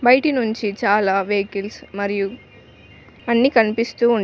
బైటి నుంచి చాలా వెకీల్స్ మరియు అన్ని కనిపిస్తూ ఉన్--